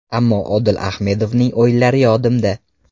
Ammo Odil Ahmedovning o‘yinlari yodimda.